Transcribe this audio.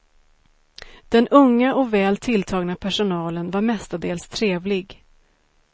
Den unga och väl tilltagna personalen var mestadels trevlig.